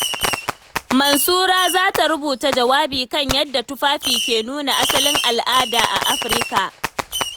Mansura za ta rubuta jawabi kan yadda tufafi ke nuna asalin al'ada a Afirika.